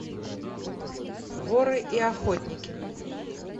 воры и охотники